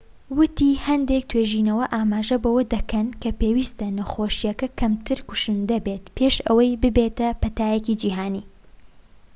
ووتی هەندێک توێژینەوە ئاماژە بەوە دەکەن کە پێویستە نەخۆشیەکە کەمتر کوشندە بێت پێش ئەوەی ببێتە پەتایەکی جیھانی